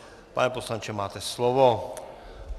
Pane poslanče, máte slovo.